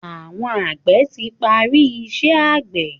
Àwọn àgbẹ̀ ti parí iṣẹ́ àgbẹ̀.